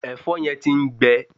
Ẹ̀̀fọ́ yẹn ti ń gbẹ